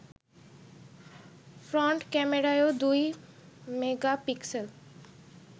front ক্যামেরাও দুই megapixel